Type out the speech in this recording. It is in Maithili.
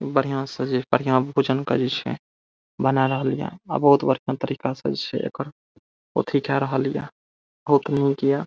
बढ़ियां से जे बढ़ियां भोजन करे छे बना रहलये और बहुत बढ़ियां तरीका से छै एकर अथी के रहलये --